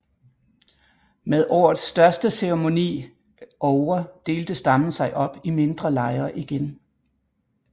Med årets største ceremoni ovre delte stammen sig op i mindre lejre igen